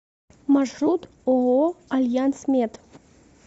маршрут ооо альянсмет